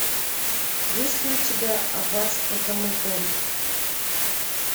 есть ли у тебя аббатство даунтон